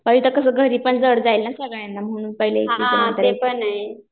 मग इथं कसं घरी पण जड जाईल ना म्हणून पहिला एकटीचं नंतर एकटीचं